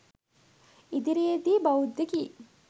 ඉදිරියේ දී බෞද්ධ ගී